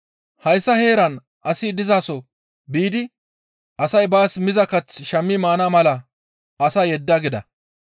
Hayssa heeran asi dizaso biidi asay baas miza kath shammi maana mala asaa yedda» gida.